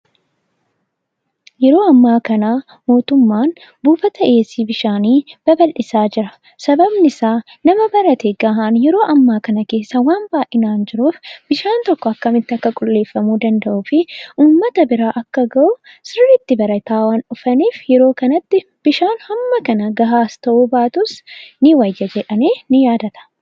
Yeroo ammaa kanaa mootummaan buufata dhiyeessi bishaanii babal'isaa jira. sababni isaa nama barate ga'aan yeroo ammaa kana keessa waan baayinaan jiruuf bishaan tokko akkamitti akka qulleeffamu danda'uu fi uummata bira akka ga'u sirriitti barataa waan dhufaniif yeroo kanattis bishaan hamma kana ga'aas ta'uu baatus ni wayya jedhamee ni yaadama.